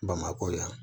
Bamakɔ yan